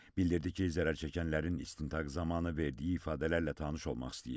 Bildirdi ki, zərər çəkənlərin istintaq zamanı verdiyi ifadələrlə tanış olmaq istəyir.